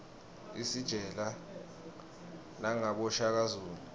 isitjela nangaboshaka zulu